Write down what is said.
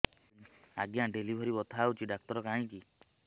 ଆଜ୍ଞା ଡେଲିଭରି ବଥା ହଉଚି ଡାକ୍ତର କାହିଁ କି